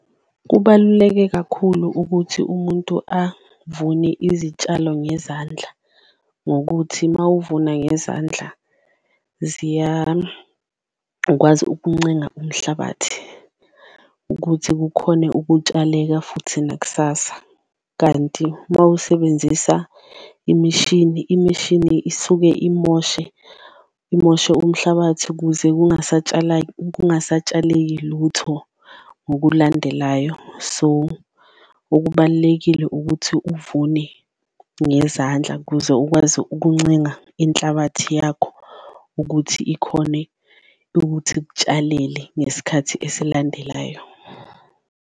Kubaluleke kakhulu ukuthi umuntu avune izitshalo ngezandla ngokuthi uma uvuna ngezandla ziyawakwazi ukuncenga umhlabathi ukuthi kukhone ukutshaleka futhi nakusasa. Kanti mawusebenzisa imishini, imishini isuke imoshe imoshe umhlabathi kuze kungasatshaleki lutho ngokulandelayo so, okubalulekile ukuthi uvune ngezandla. Kuze ukwazi ukuncenga inhlabathi yakho ukuthi ikhone ukuthi ikutshalele ngesikhathi esilandelayo.